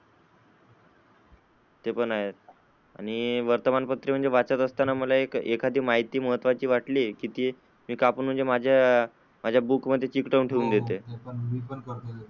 ते पण आहेच आणि वर्तमान पत्र वाचक एखादी माहिती महत्वाची वाटते कि ते कापून म्हणजे माझ्या बुक मध्ये चिकटवून ठेवता येते. हो मी पण करतो तस.